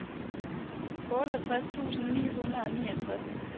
otteogtres tusind ni hundrede og niogtres